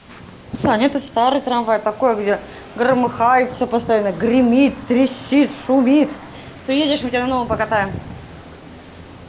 саня это старый трамвай такое где громыхает всё постоянно гремит трещит шумит приедешь мы тебя на новом покатаем